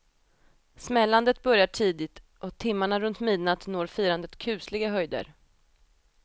Smällandet börjar tidigt och timmarna runt midnatt når firandet kusliga höjder.